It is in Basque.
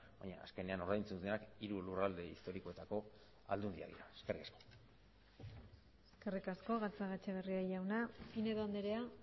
baina azkenean ordaintzen dutenak hiru lurralde historikoetako aldundiak dira eskerrik asko eskerrik asko gatzagaetxebarria jauna pinedo andrea